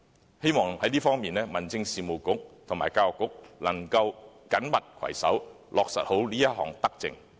我希望在這方面，民政事務局和教育局可以緊密攜手，妥善落實這項德政。